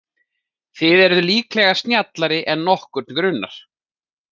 Þið eruð líklega snjallari en nokkurn grunar.